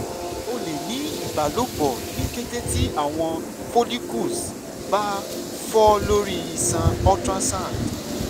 o le ni ibalopo ni kete ti awọn follicles ba fọ lori iṣan ultrasound